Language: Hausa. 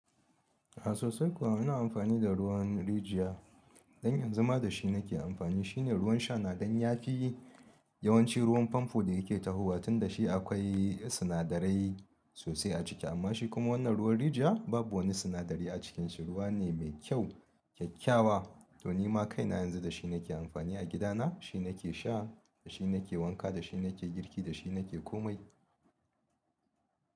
A sosai kuwa ana amfani da ruwan rijiya, dan yanzu ma da shi nake amfani. Shi ne ruwan sha na dan ya fi yawanci ruwan famfo da yake tahowa, tunda shi akwai sinadarai sosai a ciki. Amma shi kuma wannan ruwan rijiya babu wani sinadari a cikinsa. Ruwa ne mai kyau kyakkyawa to nima kaina yanzu dashi nake amfani a gida na shi nake sha, da shi nake wanka, da shi nake girki, da shi nake kome.